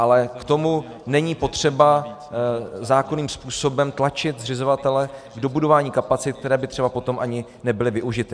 Ale k tomu není potřeba zákonným způsobem tlačit zřizovatele k dobudování kapacit, které by třeba potom ani nebyly využity.